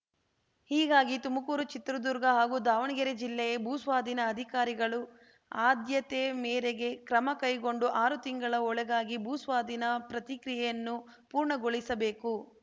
ಹೀಗಾಗಿ ತುಮಕೂರು ಚಿತ್ರದುರ್ಗ ಹಾಗೂ ದಾವಣಗೆರೆ ಜಿಲ್ಲೆ ಭೂಸ್ವಾಧೀನ ಅಧಿಕಾರಿಗಳು ಆದ್ಯತೆ ಮೇರೆಗೆ ಕ್ರಮಕೈಗೊಂಡು ಆರು ತಿಂಗಳ ಒಳಗಾಗಿ ಭೂಸ್ವಾಧೀನ ಪ್ರತಿಕ್ರಿಯೆಯನ್ನು ಪೂರ್ಣಗೊಳಿಸಬೇಕು